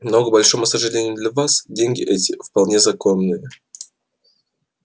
но к большому сожалению для вас деньги эти вполне законны